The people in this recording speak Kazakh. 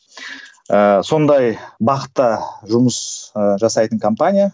ііі сондай бағытта жұмыс ыыы жасайтын компания